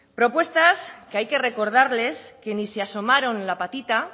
propuestas que hay que recordarles que ni se asomaron la patita